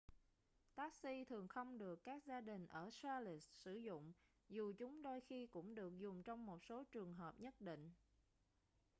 taxi thường không được các gia đình ở charlotte sử dụng dù chúng đôi khi cũng được dùng trong một số trường hợp nhất định